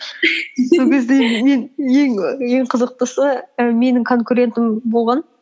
сол кезде мен ең қызықтысы і менің конкурентім болған